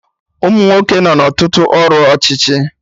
Umunwoke nọ na Ọtụtụ ọrụ ọchịchị